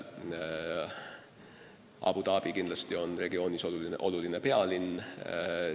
Abu Dhabi on selles regioonis kindlasti tähtis pealinn.